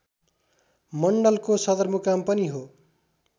मण्डलको सदरमुकाम पनि हो।